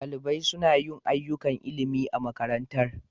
Ɗalibai suna yin ayyukan ilimi a makarantar.